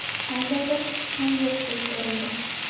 Qandaydir kuch ham yo‘qdek ko‘rindi.